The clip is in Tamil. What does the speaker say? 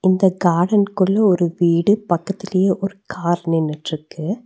இந்த கார்டன்க்குள்ள ஒரு வீடு பக்கத்துலயே ஒரு கார் நின்னுட்டுருக்கு.